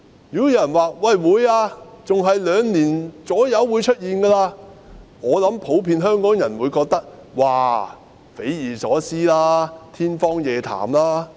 如果有人說會，還要在兩年左右便會出現，我想普遍香港人會認為是匪夷所思和天方夜譚。